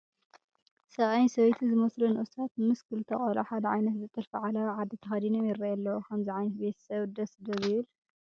ሰብኣይን ሰበይትን ዝመስሉ ንኡሳት ምስ ክልተ ቆልዑ ሓደ ዓይነት ዝጥልፉ ዓለባ ዓዲ ተኸዲኖም ይርአዩ ኣለዉ፡፡ ከምዚ ዓይነት ቤተ ሰብ ደስ ዶ ይብል?